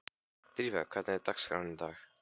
Drífa, hvernig er dagskráin í dag?